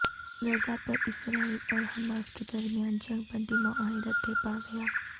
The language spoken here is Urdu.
غزہ پر اسرائیل اور حماس کے درمیان جنگ بندی معاہدہ طے پا گیا